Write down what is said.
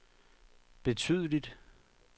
betydeligt